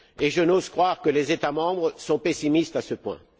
Je n'ose croire que les États membres soient pessimistes à ce point.